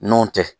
N'o tɛ